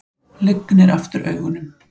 Lygnir aftur augunum.